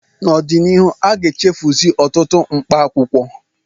N'ọdịnihu, aga-echefusi ọtụtụ mkpaakwụkwọ